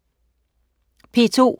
P2: